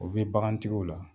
O bɛ bagantigiw la